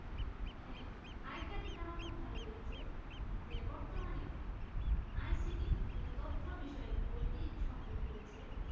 হ্যাঁ আরেকটা দিক আমার খুব ভালো লেগেছে যে বর্তমানে ICT যে তথ্য বিষয় বইটি সংযোগ করেছেন